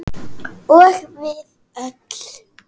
Og við öll.